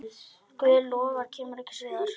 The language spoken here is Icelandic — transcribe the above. Guð lofar kemur ekkert stríð.